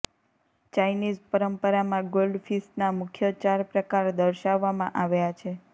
Chinese પરંપરામાં ગોલ્ડફિશના મુખ્ય ચાર પ્રકાર દર્શાવવામાં આવ્યા છે